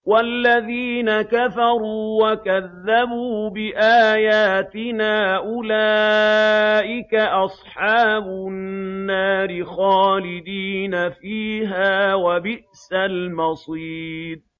وَالَّذِينَ كَفَرُوا وَكَذَّبُوا بِآيَاتِنَا أُولَٰئِكَ أَصْحَابُ النَّارِ خَالِدِينَ فِيهَا ۖ وَبِئْسَ الْمَصِيرُ